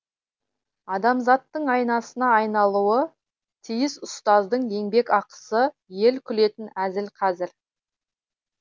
адамзаттың айнасына айналуы тиіс ұстаздың еңбекақысы ел күлетін әзіл қазір